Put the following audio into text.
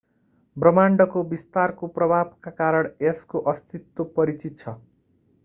ब्रह्माण्डको विस्तारको प्रभावका कारण यसको अस्तित्व परिचित छ